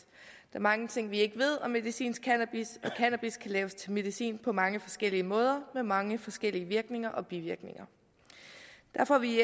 er mange ting vi ikke ved om medicinsk cannabis og cannabis kan laves til medicin på mange forskellige måder med mange forskellige virkninger og bivirkninger derfor er vi